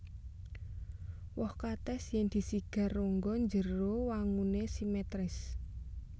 Woh katès yèn disigar rongga njero wanguné simetris